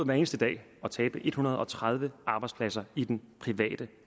hver eneste dag at tabe en hundrede og tredive arbejdspladser i den private